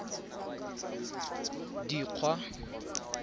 dikgwa